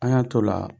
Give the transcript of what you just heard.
An y'an t'o la